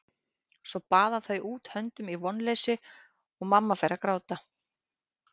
Svo baða þau út höndunum í vonleysi og mamma fer að gráta.